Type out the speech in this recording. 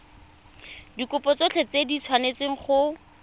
dikopo tsotlhe di tshwanetse go